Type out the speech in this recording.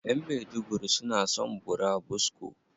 Ƴan maiduguri suna son burabusko.